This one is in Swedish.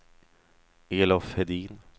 Elof Hedin